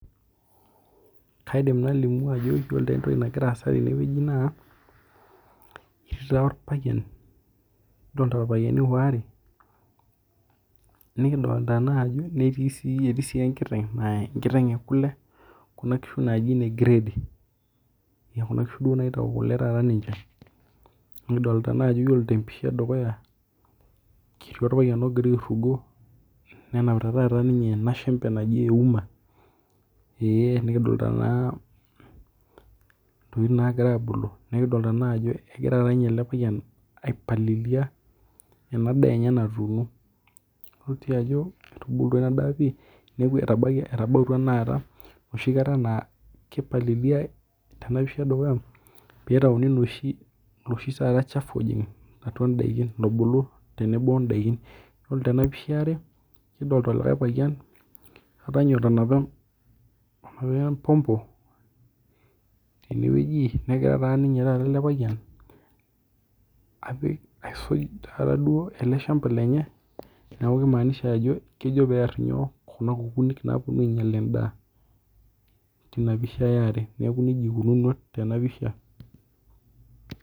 Kaidim nalimu ajo iyolo entoki nagira aasa tenewueji na ketii orpayian, kidolta irpayiani waare nikidolta si ajoetii si enkiteng ekule kuna kishu naji ne grade[cs[ kuna kishu duo naitau kule, nikidolta ajo iyiolo tempisha edukuya ketii orpayian ogira airugo nenapita taata enashembe naji euma, nikidolta na ntokitin nagira abulu, nikidolta ajo egira ele payian aipalililia enadaa enye natuuno, ajo etubulua pii neaku etabawua enoshikata na kipalililia tenapisha edukuya pitauni taata oloshi shafu lobulu tenebo ontare, yiolo tenapisha eare kidolta likae payianboota empompo tenewueji negira elepayian aisuj eleshamba lenye neaku kimaanisha ajo kejo pear kuna kukuuni naponu ainyal endaa tinapisha neaku nejia ikununuo tinapisha.